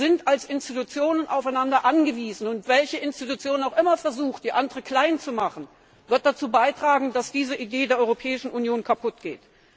Wir sind als Institutionen aufeinander angewiesen, und welche Institution auch immer versucht, die andere klein zu machen, wird dazu beitragen, dass diese Idee der Europäischen Union kaputt geht.